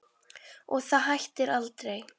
Og það hættir aldrei.